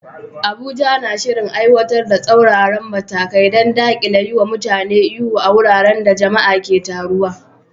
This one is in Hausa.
Abuja na shirin aiwatar da tsauraran matakai don dakile yiwa mutane ihu a wuraren da jama'a ke taruwa.